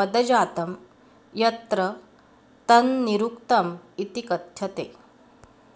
पदजातं यत्र तन्निरुक्तमिति कथ्यते